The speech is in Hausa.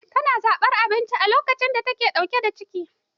Tana da zaɓan abinci duk lokacin da take da ciki.